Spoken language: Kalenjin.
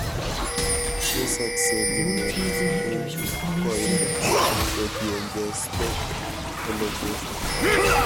Tesakse mineet en koiindo kotienge stalk elongation